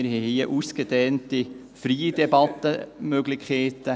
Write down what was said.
Wir haben hier ausgedehnte, freie Debattenmöglichkeiten.